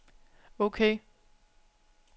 ok